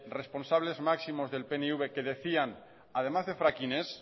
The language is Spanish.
responsable máximos del pnv que decían además de fracking ez